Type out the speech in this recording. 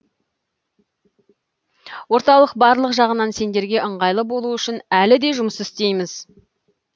орталық барлық жағынан сендерге ыңғайлы болу үшін әлі де жұмыс істейміз